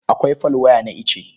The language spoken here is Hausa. Akwai folwaya na ice.